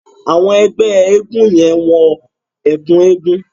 Àwọn ẹgbẹ́ eégún yẹ́n wọn ẹ̀kún eégún.